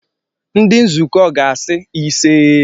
Ndị nzukọ ga-asị, isee.